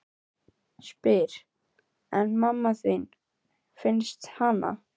Spyr: En mamma þín, fannstu hana?